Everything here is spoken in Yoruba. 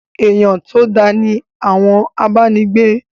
Èyán to dá ni àwọn abánigbé.